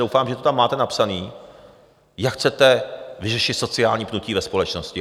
Doufám, že to tam máte napsané, jak chcete vyřešit sociální pnutí ve společnosti.